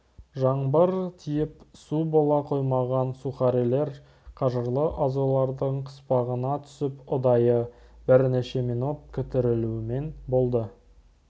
жаңбыр тиіп су бола қоймаған сухарилер қажырлы азулардың қыспағына түсіп ұдайы бірнеше минут күтірлеумен болды